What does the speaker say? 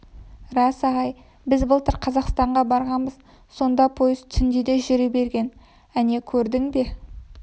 рас ағай біз былтыр қазақстанға барғанбыз сонда пойыз түнде де жүре берген әне көрдің бе